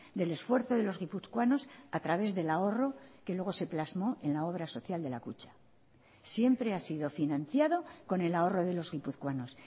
del esfuerzo de los guipuzcoanos a través del ahorro que luego se plasmó en la obra social de la kutxa siempre ha sido financiado con el ahorro de los guipuzcoanos